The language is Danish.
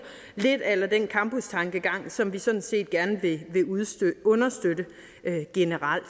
lidt a la den campustankegang som vi sådan set gerne vil understøtte generelt